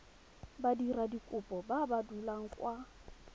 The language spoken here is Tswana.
badiradikopo ba ba dulang kwa